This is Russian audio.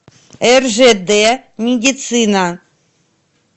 ржд медицина